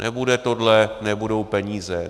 Nebude tohle, nebudou peníze.